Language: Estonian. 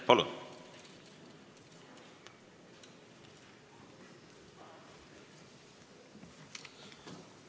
Palun!